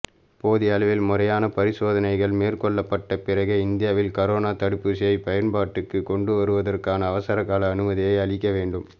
போதிய அளவில் முறையான பரிசோதனைகள் மேற்கொள்ளப்பட்ட பிறகே இந்தியாவில் கரோனா தடுப்பூசியை பயன்பாட்டுக்கு கொண்டுவருவதற்கான அவசரக்கால அனுமதியை அளிக்க வேண்டும்